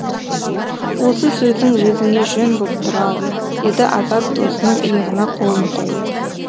осы сөзің өзіңе жөн боп тұр ау деді азат досының иығына қолын қойып